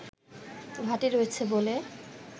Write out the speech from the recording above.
ঘাঁটি রয়েছে বলে